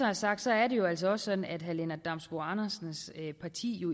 er sagt er det altså også sådan at herre lennart damsbo andersens parti jo